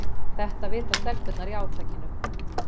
Þetta vita stelpurnar í átakinu